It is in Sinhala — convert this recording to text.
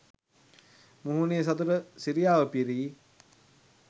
මුහුණේ සතුට සිරියාව පිරී